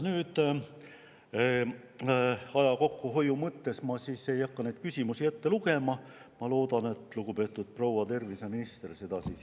Aja kokkuhoiu mõttes ma ei hakka meie küsimusi ette lugema ja loodan, et lugupeetud proua terviseminister teeb seda ise.